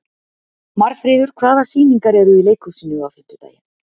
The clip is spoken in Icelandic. Marfríður, hvaða sýningar eru í leikhúsinu á fimmtudaginn?